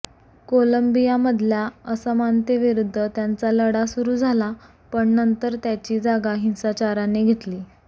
कोलंबियामधल्या असमानतेविरुद्ध त्यांचा लढा सुरू झाला पण नंतर त्याची जागा हिंसाचाराने घेतली